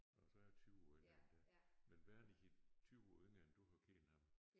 Nåh så jeg 20 år ældre end dig men Wernich 20 år yngre end du har kendt ham